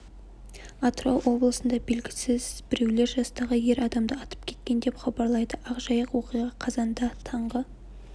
атырау облысында белгісіз біреулер жастағы ер адамды атып кеткен деп хабарлайды ақ жайық оқиға қазанда таңғы